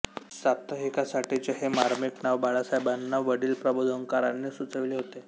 साप्ताहिकासाठीचे हे मार्मिक नाव बाळासाहेबांना वडील प्रबोधनकारांनी सुचविले होते